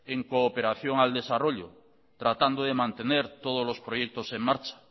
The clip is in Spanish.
en cooperación al desarrollo tratando de mantener todos los proyectos en marcha